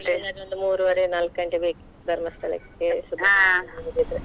ಇಲ್ಲಾಂದ್ರೆ ಒಂದು ಮೂರುವರೆ ನಾಲ್ಕು ಗಂಟೆ ಬೇಕು Dharamsthala Subrahmanya ಹೋಗುದಿದ್ರೆ.